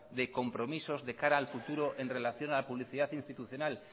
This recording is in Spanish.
de compromisos de cara al futuro en relación a la publicidad institucional